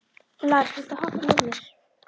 Lars, viltu hoppa með mér?